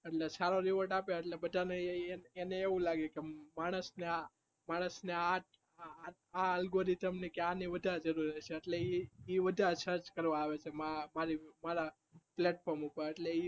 સારા reword આપીએ એટલે બધા ને એને એવું લાગે કે માણસ ને આ algorithem એટલે ઈ વધારે કરવા આવે છે